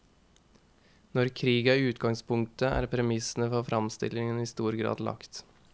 Når krig er utgangspunktet, er premissene for fremstillingen i stor grad lagt.